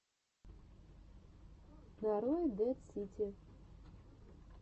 нарой дэд сити